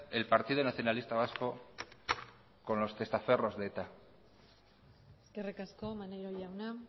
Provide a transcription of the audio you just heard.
el partido nacionalista vasco con los testaferros de eta eskerrik asko maneiro jauna